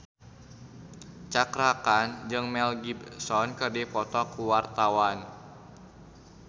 Cakra Khan jeung Mel Gibson keur dipoto ku wartawan